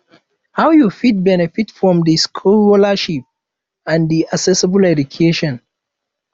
how you fit benefit from di scholarships and di accessible education